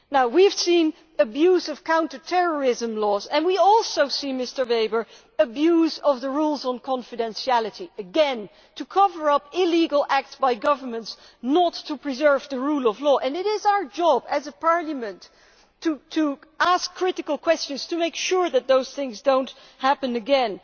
We have seen the abuse of counter terrorism laws, and we also see, Mr Weber, abuse of the rules on confidentiality again to cover up illegal acts by governments, rather than to preserve the rule of law and it is our job as a Parliament to ask critical questions to make sure that these things do not happen again.